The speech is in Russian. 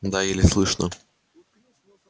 да еле слышно